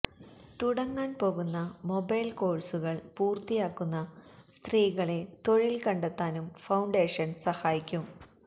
തുടങ്ങാന് പോകുന്ന മൊബൈല് കോഴ്സുകള് പൂര്ത്തിയാക്കുന്ന സ്ത്രീകളെ തൊഴില് കണ്ടെത്താനും ഫൌണ്ടേഷന് സഹായിക്കും